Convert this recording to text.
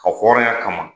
Ka hɔrɔnya kama